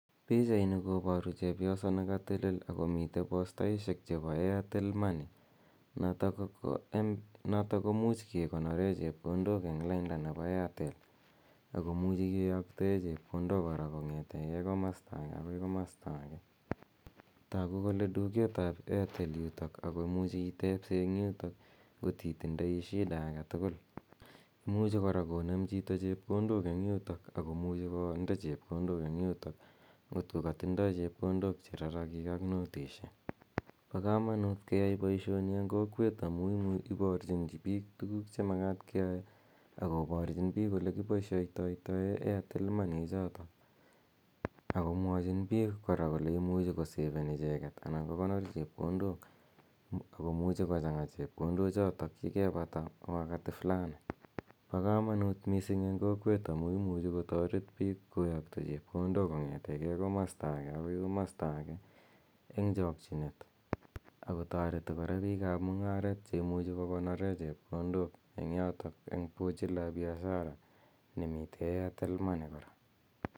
Pichaini koparu chepyoso ne katelel ako mite postaishek chepo airtel money notok ko much kekonore chepkondok eng' lainda nepo Airtel, ako muchi kiyaktae chepkondok kora kong'ete komasta age akoi komasta age. Taku kole duket ap airtel yutok ako muchi itepse eng' yutok ngot itindai shida age tugul. Imuchi kora konem chito chepkondok eng' yutok ako muchu konde chepkondok eng' yutok ngot ko katindai chepkondok che rarakiik ak notisiek. Pa kamanut keyai poishoni eng' kokwet amu iparchin piik tuguuk che makat keyae, akoparchin piik ole kipaishaitai airtel money ichotok, ako mwachin kora kole imuchi koseven anan ko kokonor chepkondok ako muchi kochang'a che pkondochotok ye kepata wakati fulani. Pa kamanuut missing' eng' kokwet amu imuchi kotaret piik koyakta chepkondok kong'ete komasta age akoi komasta age eng' chakchinet, ako tareti kora piik ap mung'aret che imuchi ko konore chepkondok eng' yotok eng' pochi la biashara ne mitei airtel money kora.